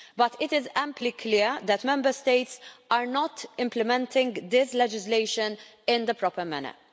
But it is amply clear that Member States are not implementing this legislation in the proper manner.